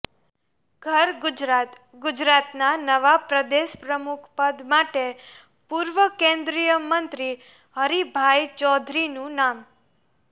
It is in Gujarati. ઘર ગુજરાત ગુજરાતના નવા પ્રદેશ પ્રમુખ પદ માટે પૂર્વ કેન્દ્રીય મંત્રી હરિભાઈ ચૌધરીનું નામ